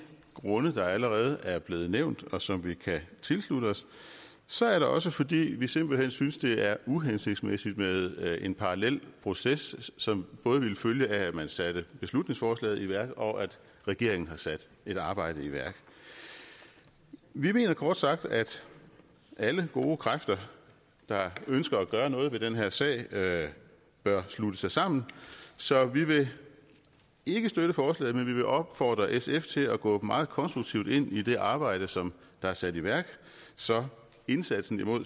grunde der allerede er blevet nævnt og som vi kan tilslutte os så er det også fordi vi simpelt hen synes at det er uhensigtsmæssigt med med en parallel proces som både ville følge af at man satte beslutningsforslaget i værk og af at regeringen har sat et arbejde i værk vi mener kort sagt at alle gode kræfter der ønsker at gøre noget ved den her sag bør slutte sig sammen så vi vil ikke støtte forslaget men vi vil opfordre sf til at gå meget konstruktivt ind i det arbejde som der er sat i værk så indsatsen imod